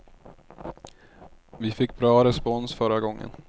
Vi fick bra respons förra gången.